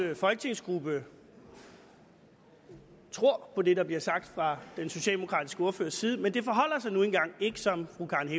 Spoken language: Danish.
folketingsgruppe tror på det der bliver sagt fra den socialdemokratiske ordførers side men det forholder sig nu engang ikke som fru karen